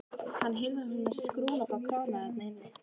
Hann heyrði að hún hafði skrúfað frá krana þar inni.